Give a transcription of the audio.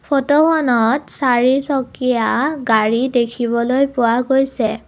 ফটোখনত চাৰিচকীয়া গাড়ী দেখিবলৈ পোৱা গৈছে।